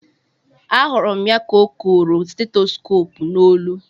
A hụrụ m ya ka o koro stetoskop n'olu